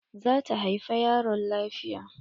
Za ta haifa yaron lafiya.